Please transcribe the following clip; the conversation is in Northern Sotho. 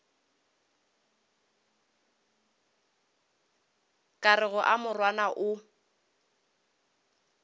ka rego a morwana o